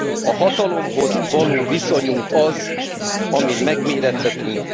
A hatalomhoz való viszonyunk az, amin megmérettetünk.